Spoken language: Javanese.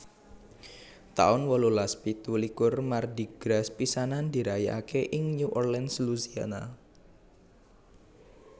taun wolulas pitu likur Mardi Gras pisanan dirayakaké ing New Orleans Louisiana